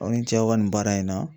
Aw ni ce aw ka nin baara in na.